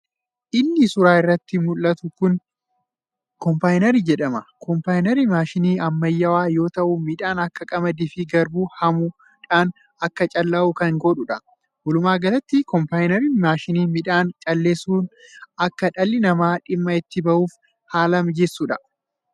Inni suuraa irratti muldhatu kun koombaayinarii jedhama. Koombaayinariin maashinii ammayyawaa yoo ta'u midhaan akka qamadii fi garbuu haamuudhaan akka callaa'u kan godhuudha. walumaagalatti koombaayinariin maashinii midhaan calleessun akka dhalli namaa dhimma itti ba'uuf haala mijeessuudha.